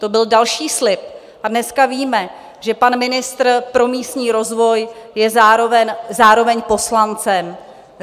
To byl další slib a dneska víme, že pan ministr pro místní rozvoj je zároveň poslancem.